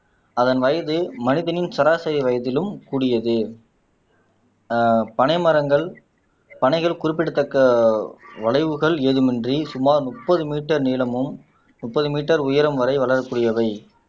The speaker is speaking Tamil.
அதன் வயது மனிதனின் சராசரி வயதிலும் கூடியது ஆஹ் பனைமரங்கள் பனைகள் குறிப்பிடத்தக்க வளைவுகள் ஏதுமின்றி சுமார் முப்பது மீட்டர் நீளமும் முப்பது மீட்டர் உயரம் வரை வளரக்கூடியவை